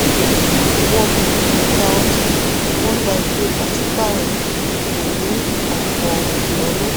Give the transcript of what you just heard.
wọn kò rà tà ọjà wọn gba ìwé pàṣípàrọ̀ kò ní ọ̀pọ̀ ìnáwó.